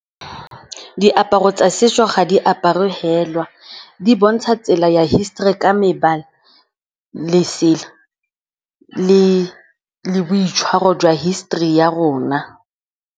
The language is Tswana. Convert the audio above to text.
Diaparo tsa setso ga di aparwe fela. Di bontsha tsela ya history ka mebala, lesela le boitshwaro jwa history ya rona.